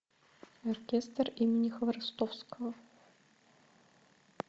оркестр имени хворостовского